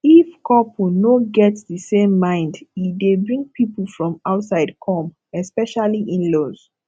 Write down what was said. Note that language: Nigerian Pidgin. if couple no get di same mind e dey bring pipo from outside come especially inlaws